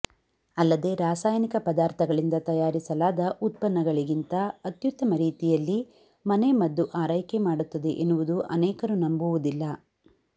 ಅಲ್ಲದೆ ರಾಸಾಯನಿಕ ಪದಾರ್ಥಗಳಿಂದ ತಯಾರಿಸಲಾದ ಉತ್ಪನ್ನಗಳಿಗಿಂತ ಅತ್ಯುತ್ತಮ ರೀತಿಯಲ್ಲಿ ಮನೆ ಮದ್ದು ಆರೈಕೆ ಮಾಡುತ್ತದೆ ಎನ್ನುವುದು ಅನೇಕರು ನಂಬುವುದಿಲ್ಲ